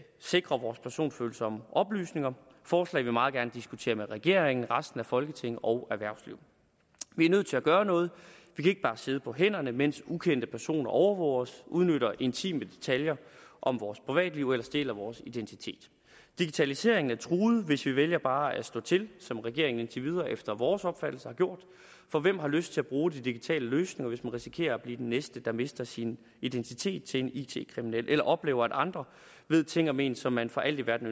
sikre vores personfølsomme oplysninger forslag vi meget gerne diskuterer med regeringen resten af folketinget og erhvervslivet vi er nødt til at gøre noget vi kan ikke bare sidde på hænderne mens ukendte personer overvåger os udnytter intime detaljer om vores privatliv eller stjæler vores identitet digitaliseringen er truet hvis vi vælger bare at lade stå til som regeringen indtil videre efter vores opfattelse har gjort for hvem har lyst til at bruge de digitale løsninger hvis man risikerer at blive den næste der mister sin identitet til en it kriminel eller oplever at andre ved ting om en som man for alt i verden